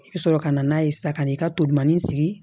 I bɛ sɔrɔ ka na n'a ye sa kan'i ka tolinanin sigi